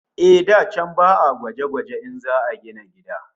Eh, da can ba'a gwaje-gwaje in za'a gina gida